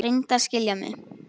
Reyndu að skilja mig.